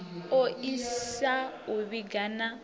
o isisa u vhiga na